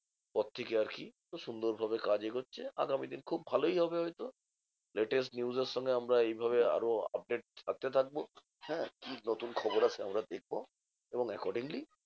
পর থেকে আরকি। তো সুন্দর যাবে কাজ এগোচ্ছে আগামী দিন খুব ভালোই হবে হয়তো। latest news এর সঙ্গে আমরা এইভাবে আরো update থাকতে থাকবো হ্যাঁ? কি নতুন খবর আসে আমরা দেখবো? এবং accordingly